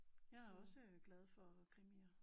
Jeg er også glad for krimier